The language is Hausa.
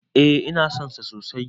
Eh ina son shi sosai